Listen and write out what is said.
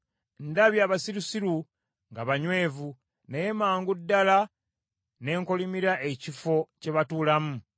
Ndabye abasirusiru nga banywevu, naye mangu ddala ne nkolimira ekifo kye batuulamu.